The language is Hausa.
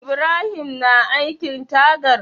Ibrahim na aikin tagar?